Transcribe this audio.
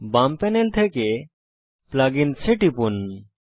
বাম প্যানেল থেকে plug ins এ টিপুন